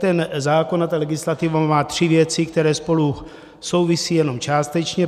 Ten zákon a ta legislativa má tři věci, které spolu souvisejí jenom částečně.